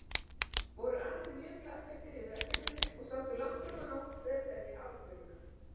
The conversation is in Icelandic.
Voru allir mjög glaðbeittir yfir verkefninu og sátu langt frammá nótt við að semja ályktunina.